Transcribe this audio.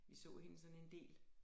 Vi så hende sådan en del